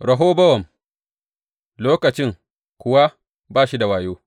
Rehobowam lokacin kuwa ba shi da wayo,